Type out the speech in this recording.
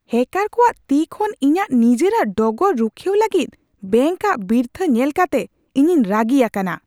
ᱦᱮᱹᱠᱟᱨ ᱠᱚᱣᱟᱜ ᱛᱤ ᱠᱷᱚᱱ ᱤᱧᱟᱹᱜ ᱱᱤᱡᱮᱨᱟᱜ ᱰᱚᱜᱚᱨ ᱨᱩᱠᱷᱤᱭᱟᱹᱣ ᱞᱟᱹᱜᱤᱫ ᱵᱮᱝᱠ ᱟᱜ ᱵᱤᱨᱛᱷᱟᱹ ᱧᱮᱞ ᱠᱟᱛᱮ ᱤᱧᱤᱧ ᱨᱟᱹᱜᱤ ᱟᱠᱟᱱᱟ ᱾